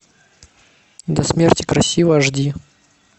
до смерти красива аш ди